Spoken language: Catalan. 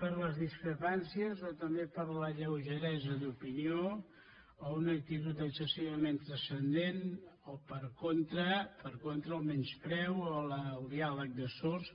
per les discrepàncies o també per la lleugeresa d’opinió o una actitud excessivament transcendent o per contra per contra el menyspreu o el diàleg de sords